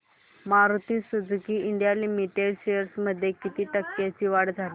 Maruti Suzuki India limited shares मध्ये किती टक्क्यांची वाढ झाली